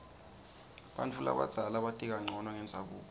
bantfu labadzala bati kancono ngendzabuko